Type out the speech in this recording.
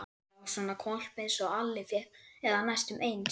Já, svona hvolp einsog Alli fékk, eða næstum eins.